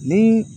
Ni